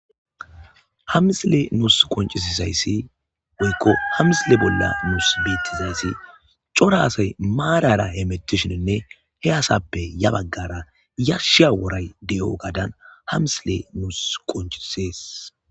hamisile nuus qoncisizayssi oykko hamisile bolla nuus biittizayssi cora asay maarara he mettishininne he asappe ya baggara yashsha woray di7o gaadan hamisile nuus qoncisees